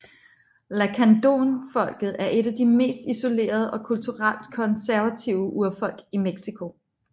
Lacandónfolket er et af de mest isolerede og kulturelt konservative urfolk i Mexico